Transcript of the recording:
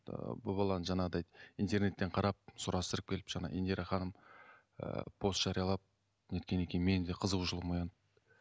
ыыы бұл баланы жаңағыдай интернеттен қарап сұрастырып келіп жаңа индира ханым ыыы пост жариялап не еткеннен кейін менің де қызығушылығым оянып